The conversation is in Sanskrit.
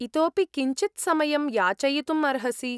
इतोऽपि किञ्चित् समयं याचयितुम् अर्हसि।